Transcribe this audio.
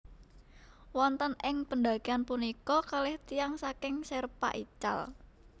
Wonten ing pendakian punika kalih tiyang saking Sherpa ical